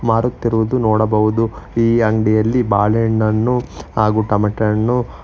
ಮಾರುತ್ತಿರುವುದು ನಾವು ನೋಡಬಹುದು ಈ ಅಂಗ್ಡಿಯಲ್ಲಿ ಬಾಳೆಹಣ್ಣನ್ನು ಹಾಗು ಟೊಮಟೆಹಣ್ಣು--